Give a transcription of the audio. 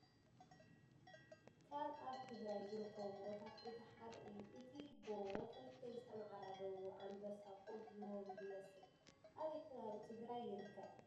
ካብ ኣብ ትግራይ ዝርከቡ ጎቦታት እቲ ሓደ እዩ ።እቲ ጎቦ ክልተ ዝተመዓዳደው ኣንበሳ ኮፍ ዝበሉ ይመስል ። ኣበይ ከባቢ ትግራይ ይርከብ ?